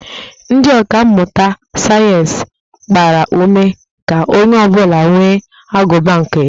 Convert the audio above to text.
Ndị ọka mmụta sayeensị gbara ume ka onye ọ bụla nwee agụba nke ya